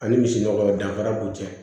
Ani misi nɔgɔ danfara b'u cɛ